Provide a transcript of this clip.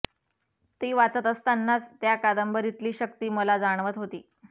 ती वाचत असतानाच त्या कादंबरीतली शक्ती मला जाणवत होती